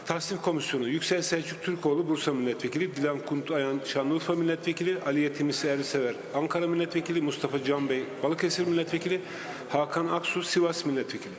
Təsnifat Komissiyası: Yüksəl Səlcuq Türkoğlu, Bursa millət vəkili; Dilan Kunt, Şanlıurfa millət vəkili; Aliyə Timuçin Sersever, Ankara millət vəkili; Mustafa Can bəy, Balıkəsir millət vəkili; Hakan Aksu, Sivas millət vəkili.